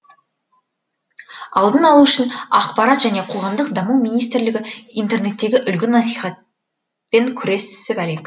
алдын алу үшін ақпарат және қоғамдық даму министрлігі интернеттегі үлгі насихат пен күресіп әлек